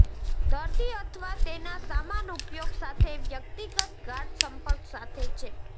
દર્દી અથવા તેના સામાન ઉપયોગ સાથે વ્યક્તિગત ગાઢ સંપર્ક સાથે ચેપ